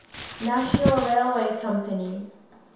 national railway company